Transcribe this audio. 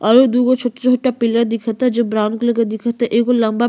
और दूगो छोटे छोटे पिलर दिखता जो ब्राउन कलर का दिखता। एगो लम्बा --